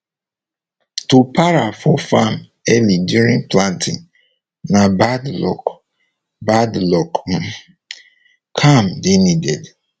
to para for farm early during planting na bad luck bad luck um calm dey needed